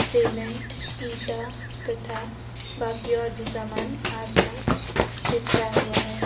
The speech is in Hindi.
सीमेंट ईटा तथा बाकी और भी सामान आसपास बिखरा हुआ है।